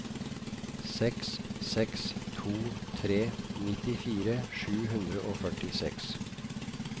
seks seks to tre nittifire sju hundre og førtiseks